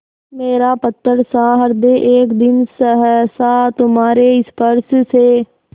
मेरा पत्थरसा हृदय एक दिन सहसा तुम्हारे स्पर्श से